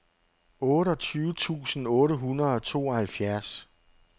otteogtyve tusind otte hundrede og tooghalvfjerds